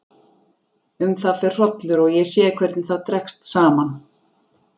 Um það fer hrollur og ég sé hvernig það dregst saman.